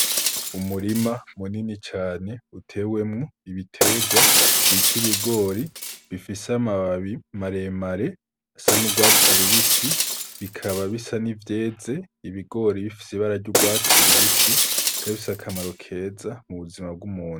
Umurima munini cane utewemwo ibiterwa bita ibigori bifise amababi maremare asa n'urwatsi lubisi bikaba bisa n'ivyeze ibigori bifise ibararya urwatsi lubisi kabise akamaro keza mu buzima bw'umunu.